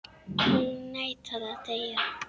Hún neitar að deyja.